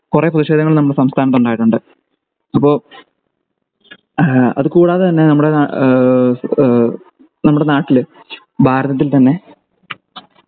കുറേ പ്രതിഷേധങ്ങൾ നമ്മുടെ സംസ്ഥാനത്തുണ്ടായിട്ടുണ്ട് അപ്പൊ ഏഹ് അത് കൂടാതെ തന്നെ നമ്മുടെ ഏഹ് ഏഹ് നമ്മുടെ നാട്ടിൽ ഭാരതത്തിൽ തന്നെ